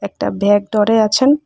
একটা ব্যাগ ধরে আছেন।